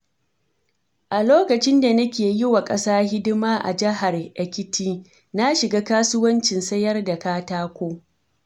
A lokacin da nake yi wa ƙasa hidima a jaihar Ekiti, na shiga kasuwancin sayar da katako.